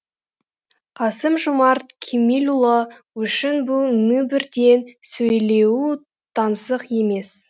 қасым жомарт кемелұлы үшін бұл мінбірден сөйлеуі таңсық емес